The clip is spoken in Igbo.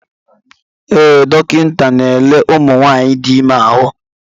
Ee, dọkịta n'ele ụmụ nwanyị dị ime ahụ.